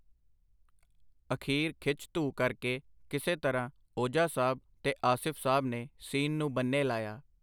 ਅਖੀਰ, ਖਿੱਚ-ਧੂਹ ਕਰਕੇ ਕਿਸੇ ਤਰ੍ਹਾਂ ਓਜਾ ਸਾਹਬ ਤੇ ਆਸਿਫ ਸਾਹਬ ਨੇ ਸੀਨ ਨੂੰ ਬੰਨੇ ਲਾਇਆ.